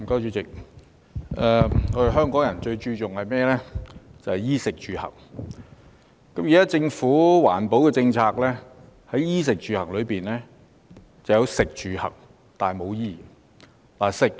主席，香港人最注重衣、食、住、行，而現時政府的環保政策只涵蓋其中的食、住、行，但沒有衣。